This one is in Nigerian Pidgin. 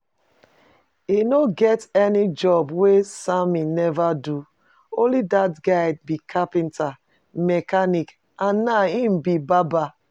E no get any job wey Sammy never do. Only dat guy be carpenter, mechanic, and now im be barber